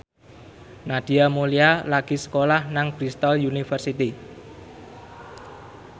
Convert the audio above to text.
Nadia Mulya lagi sekolah nang Bristol university